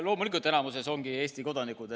Loomulikult ongi need enamikus Eesti kodanikud.